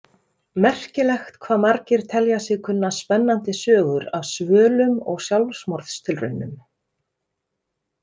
Merkilegt hvað margir telja sig kunna spennandi sögur af svölum og sjálfsmorðstilraunum.